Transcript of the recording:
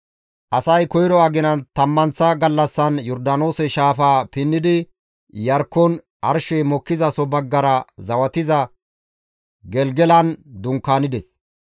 Asay koyro aginan tammanththa gallassan Yordaanoose shaafaa pinnidi Iyarkkon arshey mokkizaso baggara zawatiza Gelgelan dunkaanides.